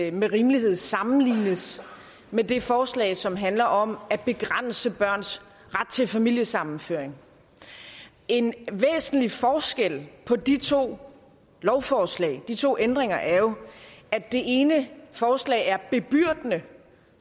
ikke med rimelighed sammenlignes med det forslag som handler om at begrænse børns ret til familiesammenføring en væsentlig forskel på de to lovforslag de to ændringer er jo at det ene forslag er bebyrdende